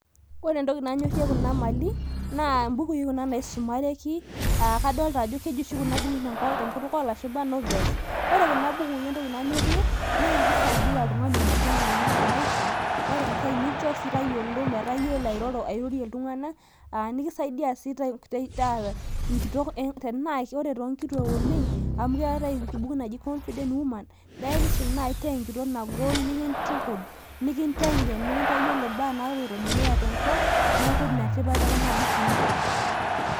ore entoki nanyorie kuna mali, imbukui kuna naisumareki.aa kadolta jo keji oshi kuna bukui te nkutuk oolashumpa novels ore kuna bukui entoki nayorie, naa kisaidia oltung'ani meteng'ena te maisha ,ore enkae nikincho sii tayiolo, metaa iyiolo airorie iltung'anak, aa nikisaidia sii taa enkitok enkanyit. amu ore too nkituak oleng',amu keetae enaji confident woman naa ekisum naaji taa enitok nagol nikintukuj, nikinteng'en nikintayiolo imbaa naapoito dukuya tenkop neeku ina tipat ekuna bukui.